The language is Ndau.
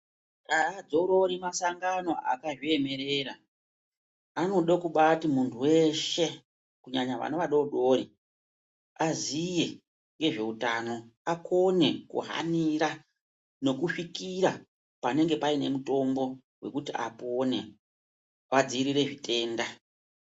Aadzorori masangano akazviemerera , anode kubaati muntu weshe kunyanya vana vadoodori aziye ngezveutano akone kuhanira nokusvikira panenge paine mutombo wekuti apone vadziirire zvitenda .